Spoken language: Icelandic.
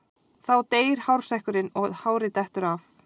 Þá deyr hársekkurinn og hárið dettur af.